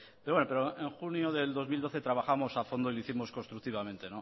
pero en junio de dos mil doce trabajamos a fondo y lo hicimos constructivamente